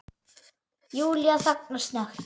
Júlía þagnar snöggt.